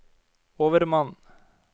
overmann